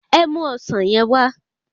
Ẹ mu ọsán yen wá